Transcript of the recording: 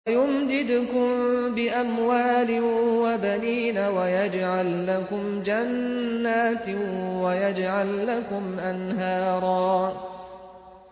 وَيُمْدِدْكُم بِأَمْوَالٍ وَبَنِينَ وَيَجْعَل لَّكُمْ جَنَّاتٍ وَيَجْعَل لَّكُمْ أَنْهَارًا